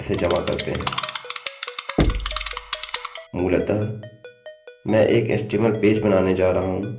मूलतः मैं एक html पेज बनाने जा रहा हूँ